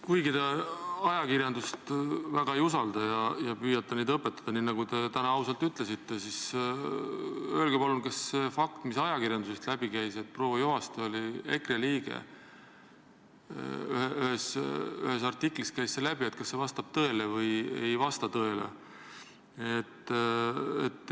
Kuigi te ajakirjandust väga ei usalda ja püüate ajakirjanikke õpetada, nii nagu te täna ausalt ütlesite, siis öelge palun, kas fakt, mis ajakirjandusest läbi käis, et proua Juhaste oli EKRE liige , vastab tõele või ei vasta.